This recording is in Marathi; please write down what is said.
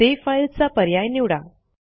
सेव्ह फाईल्सचा पर्याय निवडा